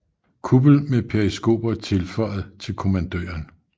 Kuppel med periskoper tilføjet til kommandøren